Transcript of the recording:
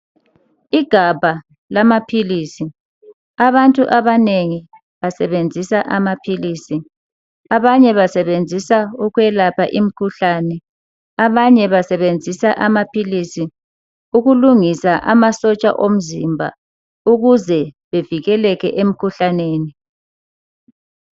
Igabha lamaphilizi abantu abanengi basebenzisa amaphilizi, abanye basebenzisa ukwelapha imkhuhlane abanye basebenzisa amaphilizi ukulungisa amasotsha omzimba ukuze bevikeleke emkhuhlaneni.